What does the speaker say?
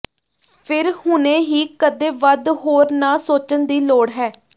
ਫਿਰ ਹੁਣੇ ਹੀ ਕਦੇ ਵੱਧ ਹੋਰ ਨਾ ਸੋਚਣ ਦੀ ਲੋੜ ਹੈ